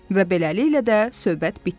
Və beləliklə də söhbət bitdi.